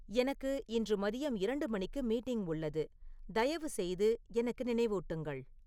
எனக்கு இன்று மதியம் இரண்டு மணிக்கு மீட்டிங் உள்ளது தயவுசெய்து எனக்கு நினைவூட்டுங்கள்